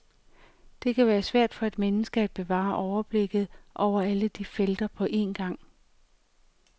Det kan være svært for et menneske at bevare overblikket over alle de felter på en gang.